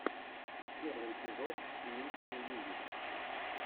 первый эпизод мити мьюзик